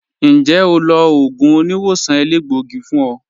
Ǹjẹ́ ó lọ̀ ogun tì oníwọ̀sàn èlẹgbọ̀gí fún ọ?